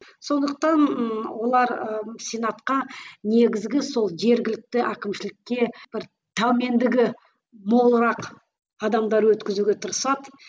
сондықтан ы олар ы сенатқа негізгі сол жергілікті әкімшілікке бір тәумендігі молырақ адамдар өткізуге тырасады